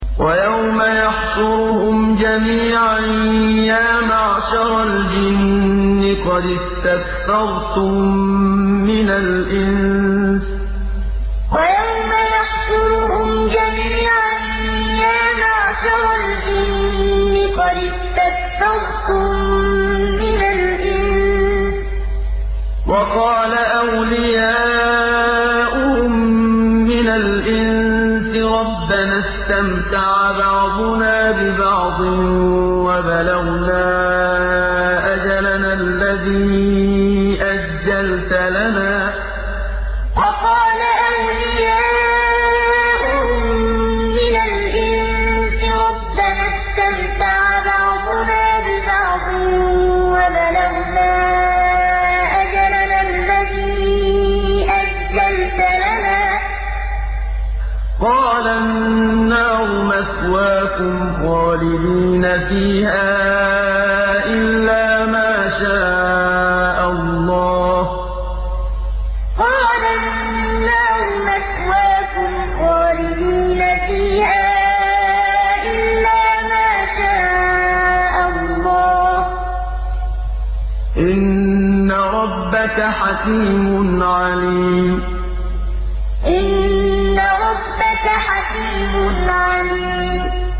وَيَوْمَ يَحْشُرُهُمْ جَمِيعًا يَا مَعْشَرَ الْجِنِّ قَدِ اسْتَكْثَرْتُم مِّنَ الْإِنسِ ۖ وَقَالَ أَوْلِيَاؤُهُم مِّنَ الْإِنسِ رَبَّنَا اسْتَمْتَعَ بَعْضُنَا بِبَعْضٍ وَبَلَغْنَا أَجَلَنَا الَّذِي أَجَّلْتَ لَنَا ۚ قَالَ النَّارُ مَثْوَاكُمْ خَالِدِينَ فِيهَا إِلَّا مَا شَاءَ اللَّهُ ۗ إِنَّ رَبَّكَ حَكِيمٌ عَلِيمٌ وَيَوْمَ يَحْشُرُهُمْ جَمِيعًا يَا مَعْشَرَ الْجِنِّ قَدِ اسْتَكْثَرْتُم مِّنَ الْإِنسِ ۖ وَقَالَ أَوْلِيَاؤُهُم مِّنَ الْإِنسِ رَبَّنَا اسْتَمْتَعَ بَعْضُنَا بِبَعْضٍ وَبَلَغْنَا أَجَلَنَا الَّذِي أَجَّلْتَ لَنَا ۚ قَالَ النَّارُ مَثْوَاكُمْ خَالِدِينَ فِيهَا إِلَّا مَا شَاءَ اللَّهُ ۗ إِنَّ رَبَّكَ حَكِيمٌ عَلِيمٌ